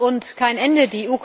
Griechenland und kein Ende.